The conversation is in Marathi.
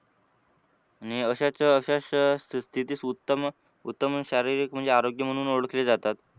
आणि अशाच अशाच स्थितीत उत्तम उत्तम शारीरिक म्हणजे आरोग्य म्हणून ओळखले जातात.